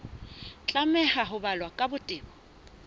tlameha ho balwa ka botebo